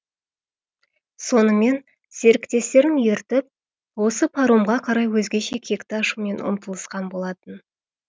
сонымен серіктестерін ертіп осы паромға қарай өзгеше кекті ашумен ұмтылысқан болатын